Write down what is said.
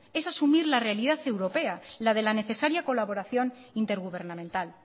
es asumir la realidad europea la de la necesaria colaboración intergubernamental